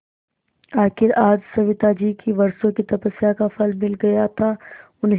आखिर आज सविताजी की वर्षों की तपस्या का फल मिल गया था उन्हें